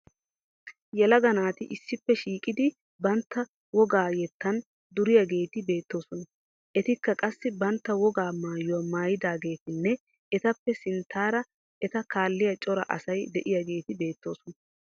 Yelaga naati issippe shiiqidi bantta wogaa yettan duriyageeti beettoosona. Etikka qassi bantta wogaa maayuwa maayidaageetinne etappe sinttaara eta kaalliya cora asay de'iyageeti beettoosona.